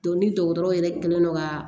ni dɔgɔtɔrɔ yɛrɛ kɛlen don ka